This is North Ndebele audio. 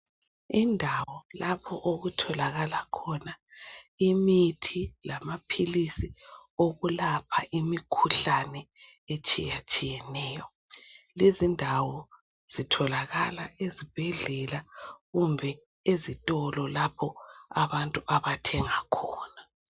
Indawo lapho okutholakala khona imithi lamaphilisi okulapha imikhuhlane etshiyatshiyeneyo, lezindawo zitholakala ezibhedlela kumbe ezitolo lapho abantu abathenga khona